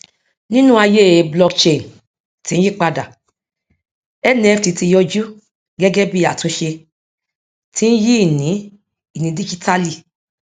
nínú ayé blockchain tí ń yípadà nft ti yòjú gẹgẹ bí àtúnṣe tí ń yí ìní ìní díjítálì